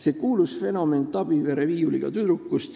tuntud fenomeni Tabivere viiuliga tüdrukust.